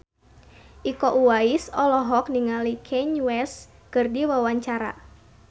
Iko Uwais olohok ningali Kanye West keur diwawancara